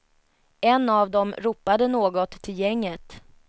En av dem ropade något till gänget.